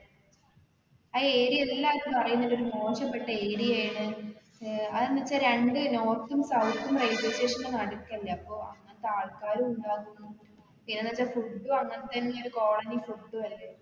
ആ area എല്ലാരും പറയുന്നത് ഒരു മോശപ്പെട്ട area യാണ് ഏർ അത് എന്താ വെച്ചാ രണ്ട് north ഉം south ഉം railway station ന്റെ നടുക്കല്ലേ അപ്പൊ അങ്ങനത്തെ ആൾക്കാരും ഇണ്ടാവും പിന്നെ എന്താവെച്ചാ food ഉ അങ്ങനെ തന്നെ ഒരു colony food ഉ അല്ലെ